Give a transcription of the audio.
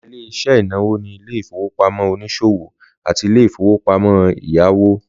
Lára Ilé-iṣẹ́ ìnáwó ni ilé ìfowópamọ́ oniṣowo àti ilé ìfowópamọ́ ẹ̀yáwó